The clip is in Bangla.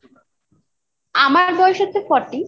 আমার বয়স হচ্ছে Forty